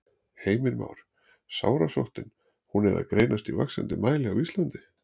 Heimir Már: Sárasóttin, hún er að greinast í vaxandi mæli á Íslandi?